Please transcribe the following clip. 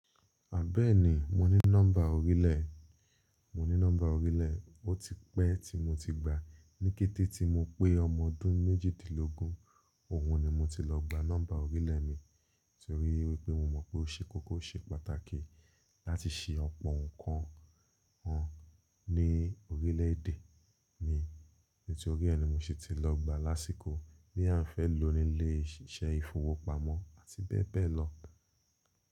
À bẹ́ẹ̀ni mo ní nọ́mbà orílẹ̀, mo ní nọ́mbà orílẹ̀, ó ti pẹ́ tí mo ti gbàá. Ní kété tí mo pé ọmọ ọdún méjìdínlógún, òun ni mo ti lọ gba nọ́mbà orílẹ̀ mi torí wípé mo mọ̀ pé ó ṣe kókó, ó ṣe pàtàkì láti ṣe ọ̀pọ̀ nǹkan hàn ní orílẹ̀-èdè mi. Nítorí ẹ̀ ní mo ṣe ti lọ gbàá lásìkò bóyá èèyàn fẹ́ lòó nílé iṣẹ́ ìfowópamọ́ àti bẹ́ẹ̀ bẹ́ẹ̀ lọ.